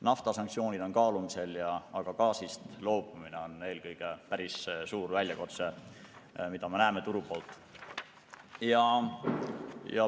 Naftasanktsioonid on kaalumisel, aga gaasist loobumine on eelkõige väga suur väljakutse, mida me turu poolt vaadatuna näeme.